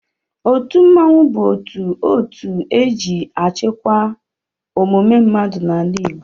Otu mmọnwụ bụ otu otu e ji achịkwa omume mmadụ n'ala Igbo